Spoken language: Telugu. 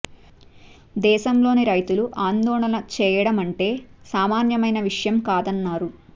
దేశంలోని రైతులు ఆందోళన చే యడం అంటే సామాన్యమైన విషయం కాదన్నారు